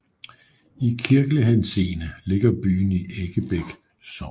I kirkelig henseende ligger byen i Eggebæk Sogn